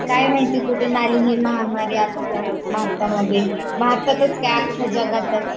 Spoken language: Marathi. काय माहिती कुठून आली ही महामारी आपल्या भारतामध्ये, भारतातच काय आख्या जगातच